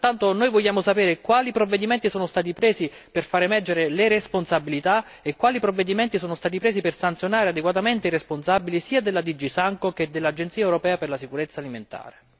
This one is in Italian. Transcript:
Pertanto noi vogliamo sapere quali provvedimenti sono stati presi per far emergere le responsabilità e quali provvedimenti sono stati presi per sanzionare adeguatamente i responsabili sia della DG SANCO che dell'Autorità europea per la sicurezza alimentare.